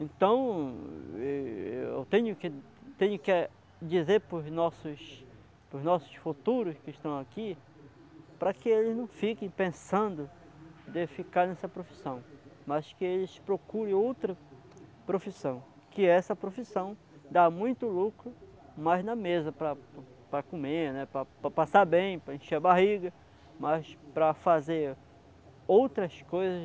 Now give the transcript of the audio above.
Então, e-eu tenho que tenho que dizer para os nossos para os nossos futuros que estão aqui, para que eles não fiquem pensando de ficar nessa profissão, mas que eles procurem outra profissão, que essa profissão dá muito lucro, mas na mesa, para para comer, né, para passar bem, para encher a barriga, mas para fazer outras coisas